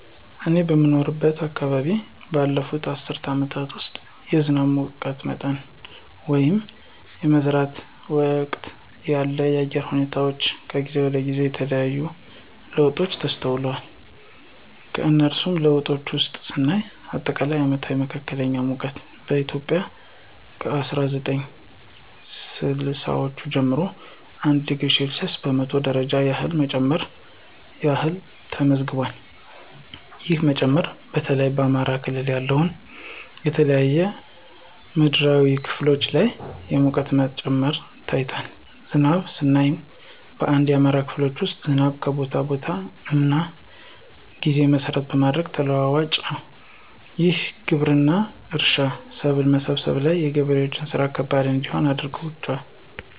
እኔ በምኖርበት አከባቢ ባለፉት አስርት አመታት ውስጥ የዝናብ፣ የሙቀት መጠን ወይንም የመዝራት ወቅት ያሉ የአየር ሁኔታወች ከጊዜ ወደ ጊዜ የተለያየ ለውጦች ተስተውሏል። ከነሱም ለውጦች ውስጥ ስናይ አጠቃላይ አመታዊ መካከለኛ ሙቀት በኢትዮጵያ ከ አስራ ዘጠኝ ስልሳወቹ ጀምሮ 1°c በመቶ ደረጃ ያህል መጨመር ያህል ተመዝግቧል። ይህ መጨመር በተለይ በአማራ ክልል ያሉ የተለያዩ ምድራዊ ክፍሎች ላይ የሙቀት መጨመር ታይቷል። ዝናብንም ስናይ በአንዳንድ የአማራ ክልሎች ውስጥ ዝናብ ከቦታ ቦታ እና ጊዜ መሰረት በማድረግ ተለዋዋጭ ነው። ይህም ግብርና፣ እርሻ፣ ሰብል መሰብሰብ ላይ የገበሬዎችን ስራ ከባድ እንዲሆን አድርጎባቸዋል።